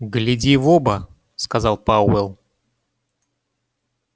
гляди в оба сказал пауэлл